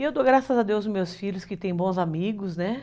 E eu dou graças a Deus, meus filhos, que têm bons amigos, né?